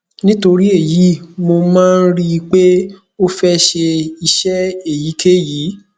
nítorí èyí mo máa ń rí i pé ó fẹ ṣe iṣẹ èyíkéyìí